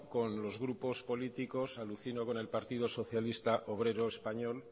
con los grupos políticos alucino con el partido socialista obrero español